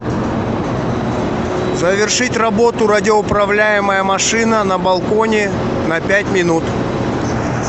завершить работу радиоуправляемая машина на балконе на пять минут